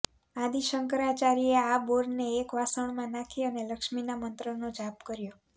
આદિ શંકરાચાર્યે આ બોરને એક વાસણમાં નાખી અને લક્ષ્મીના મંત્રનો જાપ કર્યો